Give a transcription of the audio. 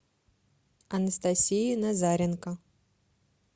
анастасии назаренко